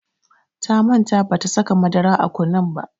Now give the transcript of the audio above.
Ta manta bata saka madara a kunun ba.